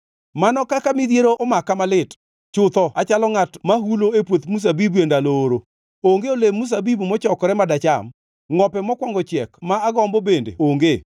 Mano kaka midhiero omaka malit! Chutho achalo ngʼat ma hulo e puoth mzabibu e ndalo oro. Onge olemb mzabibu mochokore ma dacham, ngʼope mokwongo chiek ma agombo bende onge.